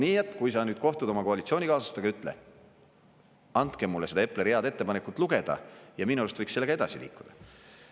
Nii et kui sa kohtud nüüd oma koalitsioonikaaslastega, ütle: andke mulle seda Epleri head ettepanekut lugeda ja minu arust võiks sellega edasi liikuda.